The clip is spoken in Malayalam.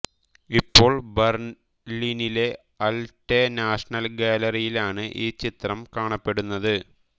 ഇപ്പോൾ ബർലിനിലെ ആൽറ്റെ നാഷണൽ ഗാലറിയിലാണ് ഈ ചിത്രം കാണപ്പെടുന്നത്